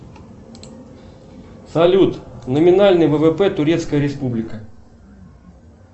салют номинальный ввп турецкая республика